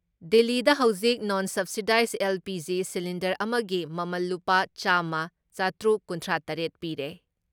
ꯗꯤꯜꯂꯤꯗ ꯍꯧꯖꯤꯛ non subsidised LPG. Cylinder ꯑꯃꯒꯤ ꯃꯃꯜ ꯂꯨꯄꯥ ꯆꯥꯝꯃ ꯆꯥꯇꯔꯨꯛ ꯀꯨꯟꯊ꯭ꯔꯥ ꯇꯔꯦꯠ ꯄꯤꯔꯦ ꯫